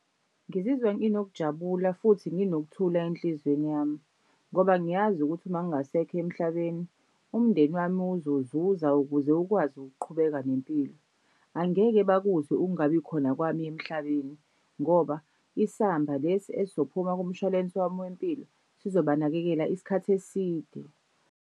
Ngizizwa nginokujabula futhi nginokuthula enhlizweni yami ngoba ngiyazi ukuthi uma ngingasekho emhlabeni, umndeni wami uzozuza ukuze ukwazi ukuqhubeka nempilo. Angeke bakuzwe ukungabikhona kwami emhlabeni ngoba isamba lesi esophuma kumshwalensi wami wempilo sizobanakekela isikhathi eside.